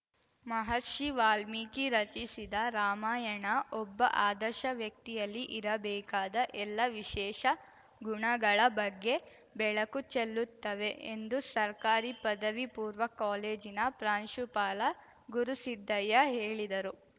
ಮಹರ್ಷಿ ವಾಲ್ಮೀಕಿ ರಚಿಸಿದ ರಾಮಾಯಣ ಒಬ್ಬ ಆದರ್ಶ ವ್ಯಕ್ತಿಯಲ್ಲಿ ಇರಬೇಕಾದ ಎಲ್ಲ ವಿಶೇಷ ಗುಣಗಳ ಬಗ್ಗೆ ಬೆಳಕು ಚೆಲ್ಲುತ್ತವೆ ಎಂದು ಸರ್ಕಾರಿ ಪದವಿ ಪೂರ್ವ ಕಾಲೇಜಿನ ಪ್ರಾಂಶುಪಾಲ ಗುರುಸಿದ್ದಯ್ಯ ಹೇಳಿದರು